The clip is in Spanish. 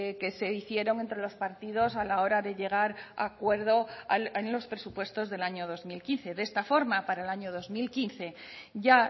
que se hicieron entre los partidos a la hora de llegar a acuerdo en los presupuestos del año dos mil quince de esta forma para el año dos mil quince ya